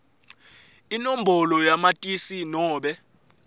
inombolo yamatisi nobe